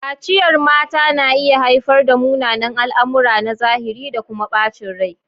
Kaciyar mata na iya haifar da munanan al'amura na zahiri da kuma bacin rai.